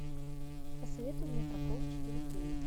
посоветуй мне прокол четыре кей